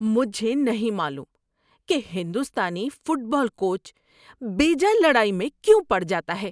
مجھے نہیں معلوم کہ ہندوستانی فٹ بال کوچ بیجا لڑائی میں کیوں پڑ جاتا ہے۔